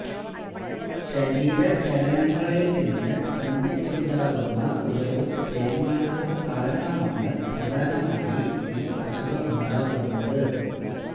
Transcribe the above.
ശരീര ചലനങ്ങളിൽ നിന്ന് സന്ധിക്കുണ്ടാകുന്ന ഉരവും തേയ്മാനവും കാരണമാണ് പ്രധാനമായി ഈ അസുഖമുണ്ടാകുന്നത്